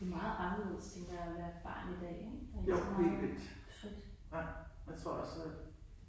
Det meget anderledes tænker jeg at være et barn i dag ik der er ikke så meget frit